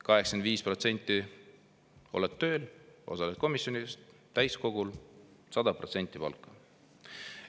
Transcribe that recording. " 85% oled tööl, osaled komisjonides ja täiskogul – 100% palka.